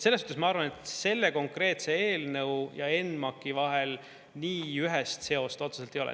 Selles suhtes ma arvan, et selle konkreetse eelnõu ja ENMAK-i vahel nii ühest seost otseselt ei ole.